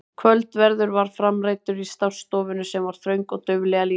Kvöldverður var framreiddur í stássstofunni sem var þröng og dauflega lýst.